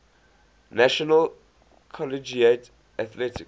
national collegiate athletic